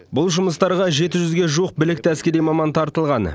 бұл жұмыстарға жеті жүзге жуық білікті әскери маман тартылған